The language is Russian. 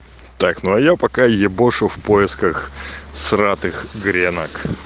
так ну а я пока ебошу в поисках всратых гренок